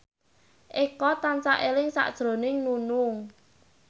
Eko tansah eling sakjroning Nunung